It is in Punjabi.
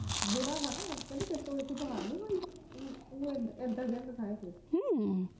ਆਖਦਾ ਹੁੰਦਾ ਕਹਿੰਦਾ ਤੇਰੇ ਤੋਂ ਇਕ ਦੀ ਹਾਰ ਨਾ ਹੋਈ ਤੂੰ ਏਦਾਂ